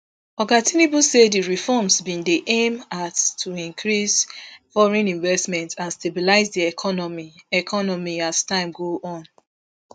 oga tinubu say di reforms bin dey aimed to increase foreign investment and stabilize di economy economy as time go on